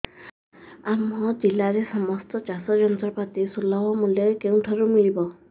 ଆମ ଜିଲ୍ଲାରେ ସମସ୍ତ ଚାଷ ଯନ୍ତ୍ରପାତି ସୁଲଭ ମୁଲ୍ଯରେ କେଉଁଠାରୁ ମିଳିବ